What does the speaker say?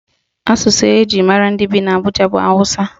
Asụsụ eji mara ndị bi n'Abụja bụ Awụsa.